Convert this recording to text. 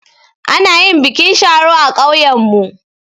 Ana yin bikin sharo a ƙauyanmu.